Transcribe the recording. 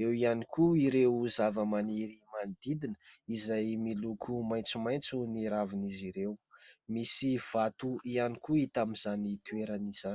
eo ihany koa ireo zava-maniry manodidina izay miloko maitsomaitso ny ravin'izy ireo, misy vato ihany koa hita amin'izany toerana izany.